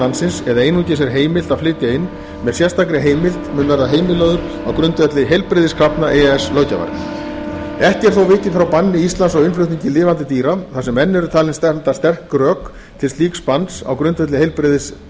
landsins eða einungis er heimilt að flytja inn með sérstakri heimild mun verða heimilaður á grundvelli heilbrigðiskrafna e e s löggjafar ekki er þó vikið frá banni íslands á innflutningi lifandi dýra þar sem enn eru talin standa sterk rök til slíks banns á grundvelli